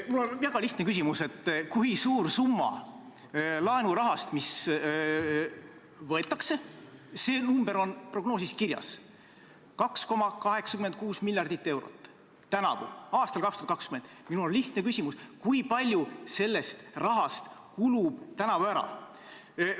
Mul on väga lihtne küsimus: kui suur summa laenurahast, mis võetakse – see number on prognoosis kirjas, 2,86 miljardit eurot 2020. aastal –, kulub tänavu ära?